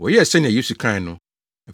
Wɔyɛɛ sɛnea Yesu kae no.